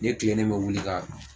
Ne ye kilen ne me wuli ka